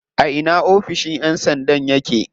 A ina oficin yan sandan yake?